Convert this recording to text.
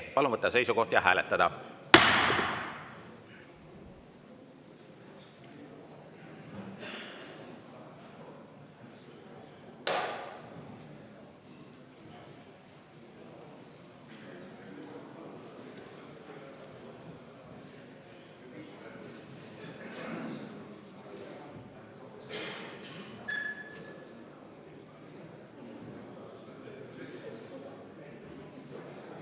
Palun võtta seisukoht ja hääletada!